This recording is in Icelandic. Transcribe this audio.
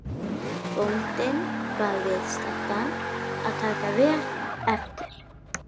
Bóndinn bað viðstadda að taka vel eftir.